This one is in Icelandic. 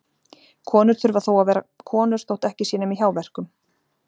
Konur þurfa þó að vera konur þótt ekki sé nema í hjáverkum.